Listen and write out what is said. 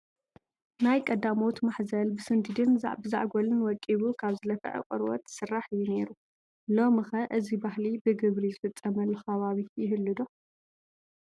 ናይ ቀዳሞት ማሕዘል ብስንዲድን ብዝዓጐልን ወቂቡ ካብ ዝለፍዐ ቆርበት ዝስራሕ እዩ ነይሩ፡፡ ሎሚ ኸ እዚ ባህሊ ብግብሪ ዝፍፀመሉ ከባቢ ይህሉ ዶ?